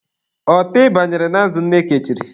Ọtị banyere n'azụ nne kechiri.